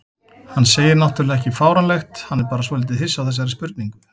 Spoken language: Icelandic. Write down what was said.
Hann segir náttúrlega ekki fáránlegt, hann er bara svolítið hissa á þessari spurningu.